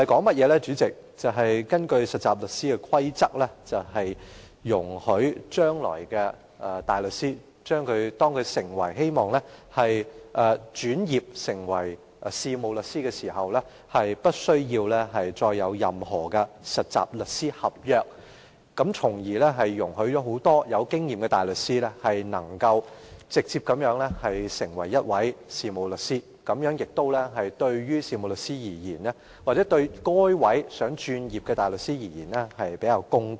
代理主席，《2017年實習律師規則》的內容是，容許大律師在將來如果擬轉業成為事務律師時，無須根據實習律師合約受僱，從而讓很多富經驗的大律師直接成為事務律師，這樣對於事務律師或有意轉業的大律師而言會較為公道。